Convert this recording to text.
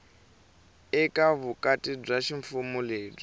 eka vukati bya ximfumo lebyi